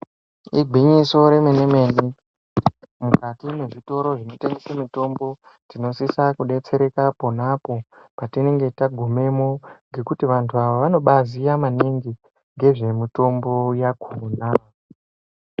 Igwinyiso remene-mene mukati mwezvitoro zvinotengese mitombo tinosisa kubetsereka aponapo patinenge tagumemo. Ngekuti vantu ava vanobaziya maningi nezvemitombo yakona.